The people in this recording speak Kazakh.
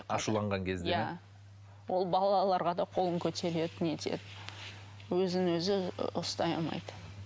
ашуланған кезде ме иә ол балаларға да қолын көтереді не теді өзін өзі ұстай алмайды